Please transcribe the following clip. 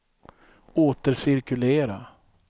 återcirkulera